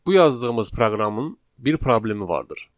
Bu yazdığımız proqramın bir problemi vardır.